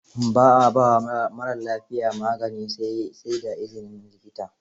Ba a ba wa marar lafiya magani sai da izinin likita.